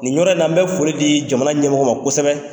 Nin yɔrɔ in na n bɛ foli di jamana ɲɛmɔgɔw ma kosɛbɛ.